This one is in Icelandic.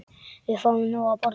Við fáum nóg að borða.